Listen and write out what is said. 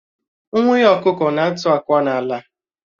Nwunye ọkụkọ na-atụ akwa n'ala